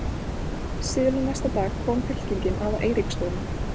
Síðla næsta dag kom fylkingin að Eiríksstöðum.